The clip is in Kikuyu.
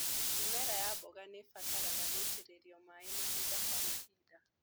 Mĩmera ya mboga nĩ ĩbataraga gũitĩrĩrio maĩ mahinda kwa mahinda.